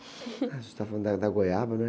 Ah, a gente estava falando da, da goiaba, né?